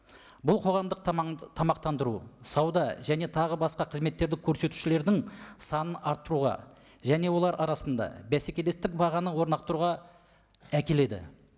бұл қоғамдық тамақтандыру сауда және тағы басқа қызметтерді көрсетушілердің санын арттыруға және олар арасында бәсекелестік бағаны әкеледі